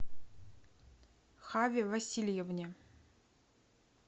хаве васильевне